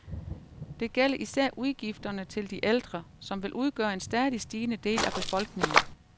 Det gælder især udgifterne til de ældre, som vil udgøre en stadig stigende del af befolkningen.